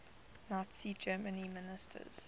nazi germany ministers